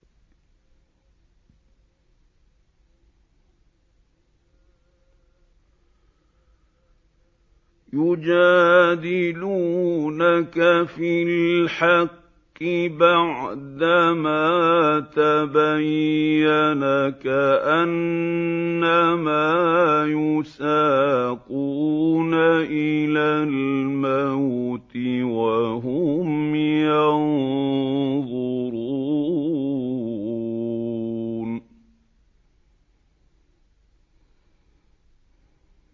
يُجَادِلُونَكَ فِي الْحَقِّ بَعْدَمَا تَبَيَّنَ كَأَنَّمَا يُسَاقُونَ إِلَى الْمَوْتِ وَهُمْ يَنظُرُونَ